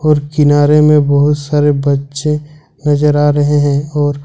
और किनारे में बहुत सारे बच्चे नजर आ रहे हैं।